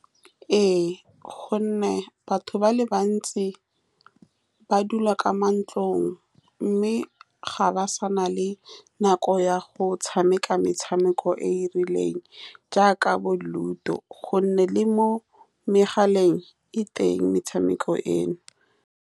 Ee, ka gonne batho ba le bantsi ba dula ka mo ntlong, mme ga ba sa na le nako ya go tshameka metshameko e e rileng jaaka bo-ludo, ka gonne le mo megaleng e teng metshameko eno.